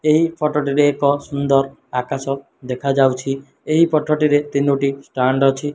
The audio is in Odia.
ଏହି ଫଟୋ ଟିରେ ଏକ ସୁନ୍ଦର୍ ଆକାଶ ଦେଖା ଯାଉଛି ଏହି ଫଟୋ ଟିରେ ତିନୋଟି ଷ୍ଟାଣ୍ଡ ଅଛି।